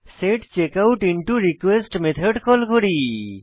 সেটচেকআউটিন্টরকোয়েস্ট method call করি